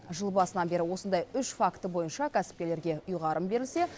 жыл басынан бері осындай үш факті бойынша кәсіпкерлерге ұйғарым берілсе